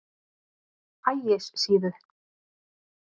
Ægissíðu